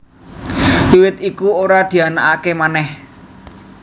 Wiwit iku ora dianakaké manèh